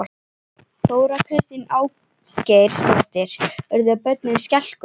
Þóra Kristín Ásgeirsdóttir: Urðu börnin skelkuð?